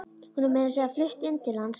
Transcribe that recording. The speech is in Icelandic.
Hún er meira að segja flutt inn til hans.